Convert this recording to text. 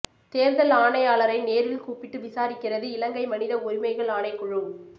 தேர்தல் ஆணையாளரை நேரில் கூப்பிட்டு விசாரிக்கிறது இலங்கை மனித உரிமைகள் ஆணைக்குழு